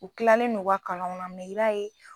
U kilalen no u ka kalanw na mɛ i b'a ye